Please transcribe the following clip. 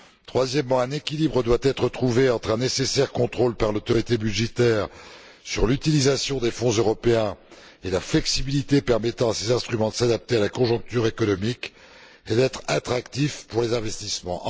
Troisièmement, un équilibre doit être trouvé entre un nécessaire contrôle par l'autorité budgétaire sur l'utilisation des fonds européens et la flexibilité permettant à ces instruments de s'adapter à la conjoncture économique et d'être attractifs pour les investissements.